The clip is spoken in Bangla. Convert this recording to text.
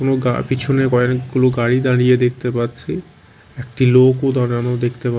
কোন গা পিছনে কয়েকগুলো গাড়ি দাঁড়িয়ে দেখতে পাচ্ছি একটি লোকও দাঁড়ানো দেখতে পা--